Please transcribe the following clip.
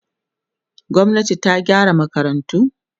gwamnati ta gyara makarantu